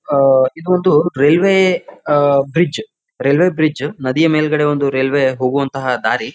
ಆಹ್ಹ್ ಇದೊಂದು ರೈಲ್ವೆ ಅಹ್ bridge railway bridge ನದಿಯ ಮೇಲ್ಗಡೆ ಒಂದು ರೈಲ್ವೆ ಹೋಗುವಂಥ ದಾರಿ.